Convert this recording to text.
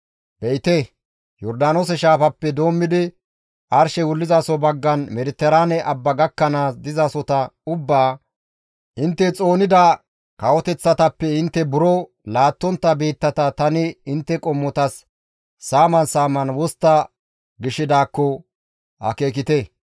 Be7ite, Yordaanoose shaafappe doommidi arshey wullizaso baggan Mediteraane Abba gakkanaas dizasota ubbaa, intte xoonida kawoteththatappe intte buro laattontta biittata tani intte qommotas saaman saaman wostta gishidaakko akeekite.